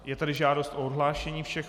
Je tady žádost o odhlášení všech.